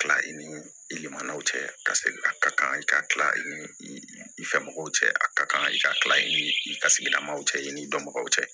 Kila i ni i manaw cɛ ka segin a ka kan i ka kila i ni i fɛ mɔgɔw cɛ a ka kan i ka tila i ni i ka sigilamaw cɛ i ni dɔnbagaw cɛ